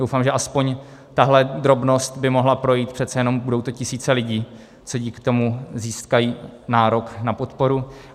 Doufám, že aspoň tahle drobnost by mohla projít, přece jenom to budou tisíce lidí, co dík tomu získají nárok na podporu.